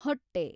ಹೊಟ್ಟೆ